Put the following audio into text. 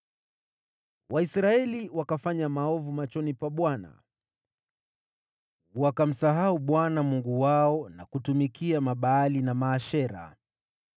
Waisraeli wakafanya maovu machoni pa Bwana , wakamsahau Bwana Mungu wao na kutumikia Mabaali na Maashera.